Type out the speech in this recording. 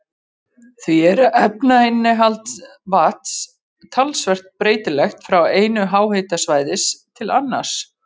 Því er efnainnihald vatns talsvert breytilegt frá einu háhitasvæði til annars.